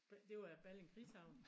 Det var jo Balling krigshavn